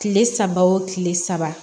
Kile saba wo kile saba